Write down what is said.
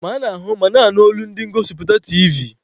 Ma ana-ahụ ma na-anụ olu ndi ngosipụta tiivi.